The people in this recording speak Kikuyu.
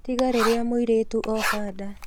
Tiga rĩrĩa mũirĩtu ooha nda